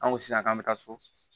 An ko sisan k'an bɛ taa so